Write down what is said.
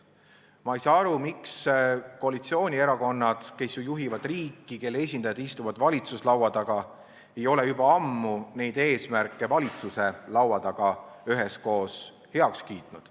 Ma ei saa aru, miks koalitsioonierakonnad, kes juhivad riiki ja kelle esindajad istuvad valitsuslaua taga, ei ole juba ammu neid eesmärke üheskoos heaks kiitnud.